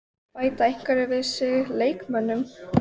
Bæta einhverjir við sig leikmönnum?